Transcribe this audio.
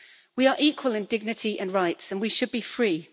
We are equal in dignity and rights and we should be free'.